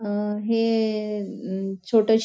अ हे हम छोटशी --